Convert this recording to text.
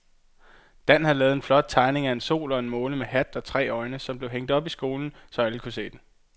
Dan havde lavet en flot tegning af en sol og en måne med hat og tre øjne, som blev hængt op i skolen, så alle kunne se den.